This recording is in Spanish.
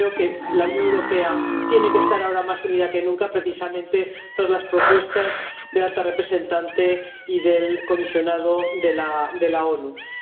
Yo creo que la Unión Europea tiene que estar ahora más unida que nunca, precisamente tras las propuestas de la alta representante y del alto comisionado de las Naciones Unidas.